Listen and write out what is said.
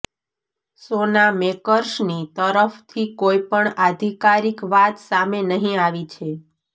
શોના મેકર્સની તરફથી કોઈ પણ આધિકારિક વાત સામે નહી આવી છે